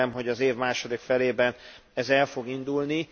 Remélem, hogy az év második felében ez el fog indulni.